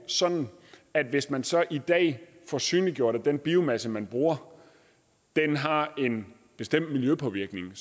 sådan at hvis man så i dag får synliggjort at den biomasse man bruger har en bestemt miljøpåvirkning